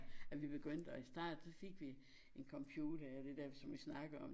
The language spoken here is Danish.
At vi begyndte og i starten så fik vi en computer og det der som vi snakkede om